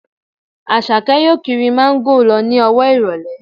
Àṣàkẹ́ yóò kiri Máńgò lọ ní ọwọ́ ìrọ̀lẹ́